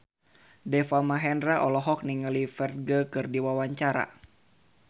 Deva Mahendra olohok ningali Ferdge keur diwawancara